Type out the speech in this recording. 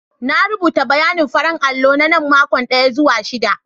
Na rubuta bayanin farin allo na na makon daya zuwa shida.